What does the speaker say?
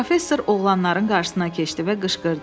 Professor oğlanların qarşısına keçdi və qışqırdı: